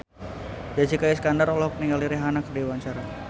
Jessica Iskandar olohok ningali Rihanna keur diwawancara